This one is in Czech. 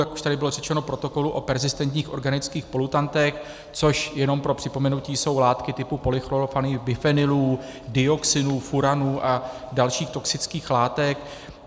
Jak už tady bylo řečeno, protokolu o perzistentních organických polutantech, což jenom pro připomenutí jsou látky typu polychlorovaných bifenylů, dioxinů, furanů a dalších toxických látek.